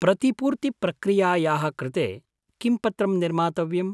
प्रतिपूर्तिप्रक्रियायाः कृते किं पत्रं निर्मातव्यम्?